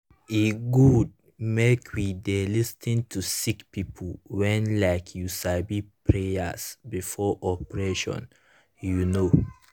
e gud make we dey lis ten to sicki pipu wen like u sabi prayas before operation u know.